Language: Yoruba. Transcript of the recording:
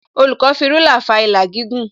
Olùkọ́ fi rúlà fa ìlà gígùn